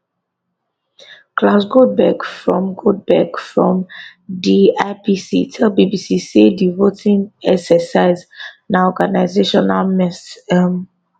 claus goldbeck from goldbeck from di ipc tell bbc say di voting exercise na organisational mess um